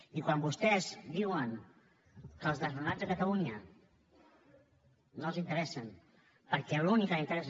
i quan vostès diuen que els desnonats a catalunya no els interessen perquè l’únic que els interessa